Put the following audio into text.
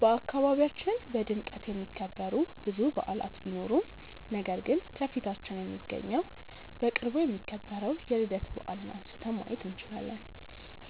በአካባቢያችን በድምቀት የሚከበሩ ብዙ በዓላት ቢኖሩም ነገር ግን ከፊታችን የሚገኘው በቅርቡ የሚከበረው የልደታ በዓልን አንስተን ማየት እንችላለን።